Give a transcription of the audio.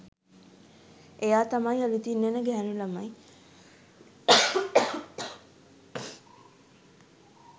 එයා තමයි අලුතින් එන ගැහැනු ළමයි